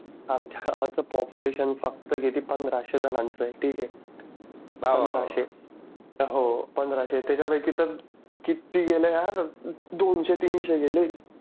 आमच्या गावाचं पापुलेशन फक्त किती पंधराशे जणांचं आहे ठीक आहे हो पंधराशे त्याच्यापैकी तर किती गेल्या दोनशे तीनशे गेले.